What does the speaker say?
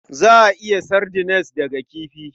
Za a yi sardines daga kifi.